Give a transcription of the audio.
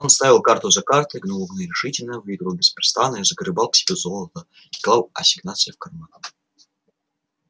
он ставил карту за картой гнул углы решительно выигрывал беспрестанно и загребал к себе золото и клал ассигнации в карман